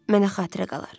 Mənə xatirə qalar.